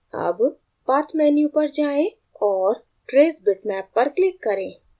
अब path menu पर जाएँ और trace bitmap पर click करें